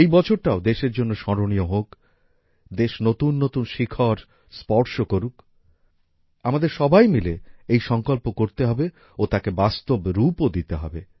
এই বছরটাও দেশের জন্য স্মরণীয় হোক দেশ নতুন নতুন শিখর স্পর্শ করুক আমাদের সবাই মিলে এই সংকল্প করতে হবে ও তাকে বাস্তব রূপও দিতে হবে